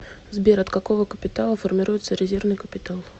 сбер от какого капитала формируется резервный капитал